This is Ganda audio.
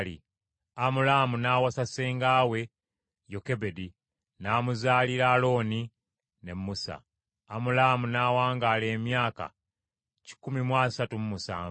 Amulaamu n’awasa senga we Yokebedi; n’amuzaalira: Alooni ne Musa. Amulaamu n’awangaala emyaka kikumi mu asatu mu musanvu.